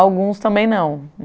Alguns também não.